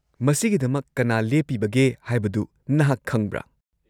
- ꯃꯁꯤꯒꯤꯗꯃꯛ ꯀꯅꯥ ꯂꯦꯞꯄꯤꯕꯒꯦ ꯍꯥꯏꯕꯗꯨ ꯅꯍꯥꯛ ꯈꯪꯕ꯭ꯔꯥ?